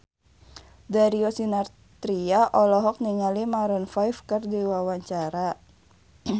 Darius Sinathrya olohok ningali Maroon 5 keur diwawancara